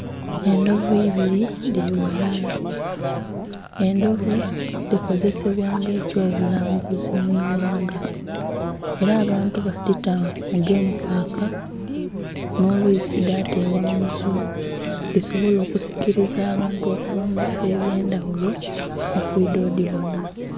Endhovu ibiri dhili ghalala endhovu dhikozesebwa nga ebyo bubulambuzi mwi ghanga era abantu badhita mu geemu paaka nho kwisi dhatebwa mu zuu dhisobole okusikiliza abantu okuva mu bifoo ebyendhaghulo okwidha odhibona.